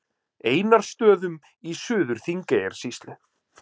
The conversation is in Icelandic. Einarsstöðum í Suður-Þingeyjarsýslu.